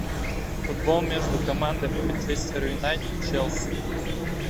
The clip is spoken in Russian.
футбол между командами манчестер юнайтед челси